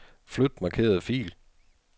Flyt markerede fil.